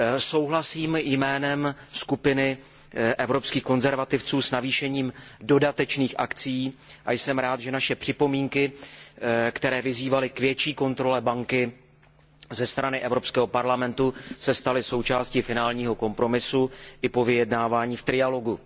Souhlasím jménem skupiny Evropských konzervativců s navýšením dodatečných akcií a jsem rád, že naše připomínky, které vyzývaly k větší kontrole banky ze strany Evropského parlamentu, se staly součástí finálního kompromisu i po vyjednávání v trialogu.